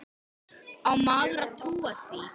Á maður að trúa því?